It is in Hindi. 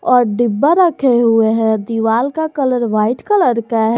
और डिब्बा रखे हुए हैं दीवाल का कलर वाइट कलर है।